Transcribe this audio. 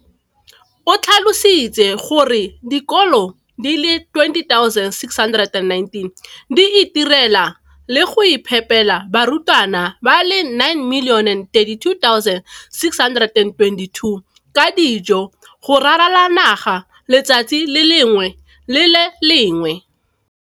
O tlhalositse gore dikolo di le 20 619 di itirela le go iphepela barutwana ba le 9 032 622 ka dijo go ralala naga letsatsi le lengwe le le lengwe.